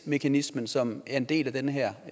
mekanismen som er en del af den her